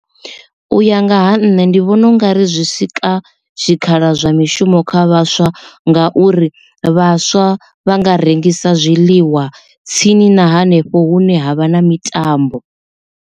U ya nga ha nṋe ndi vhona ungari zwi sika tshikhala zwa mishumo kha vhaswa ngauri vhaswa vha nga rengisa zwiḽiwa tsini na hanefho hune havha na mitambo.